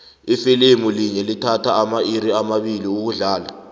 ifilimu linye lithatha amairi amabili ukudlala